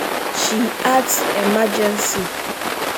she add emergency